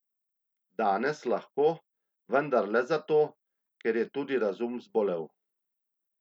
Danes lahko, vendar le zato, ker je tudi razum zbolel.